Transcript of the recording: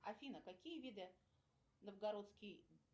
афина какие виды новгородский